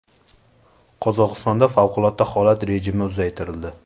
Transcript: Qozog‘istonda favqulodda holat rejimi uzaytirildi.